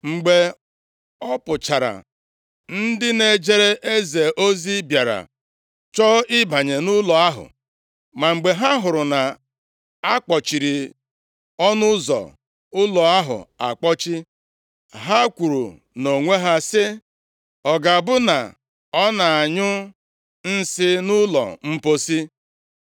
Mgbe ọ pụchara, ndị na-ejere eze ozi bịara chọọ ịbanye nʼụlọ ahụ. Ma mgbe ha hụrụ na a kpọchiri ọnụ ụzọ ụlọ ahụ akpọchi, ha kwuru nʼonwe ha sị, “Ọ ga-abụ na ọ na-anyụ nsị nʼụlọ mposi.”